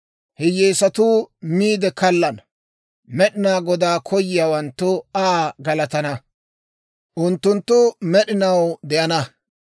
Hiyyeesatuu miide kallana. Med'inaa Godaa koyiyaawanttu Aa galatana. Unttunttu med'inaw de'ana.